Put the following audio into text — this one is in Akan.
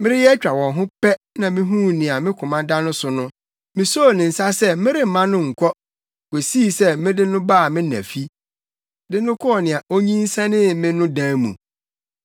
Mereyɛ atwa wɔn ho pɛ na mihuu nea me koma da no so no. Misoo ne nsa sɛ meremma no nkɔ kosii sɛ mede no baa me na fi, de no kɔɔ nea onyinsɛnee me no dan mu.